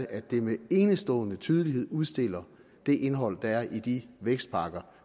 at det med enestående tydelighed udstiller det indhold der er i de vækstpakker